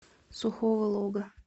сухого лога